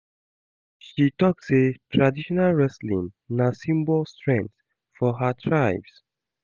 She tok sey traditional wrestling na symbol strength for her tribes.